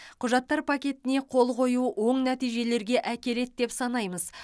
құжаттар пакетіне қол қою оң нәтижелерге әкеледі деп санаймыз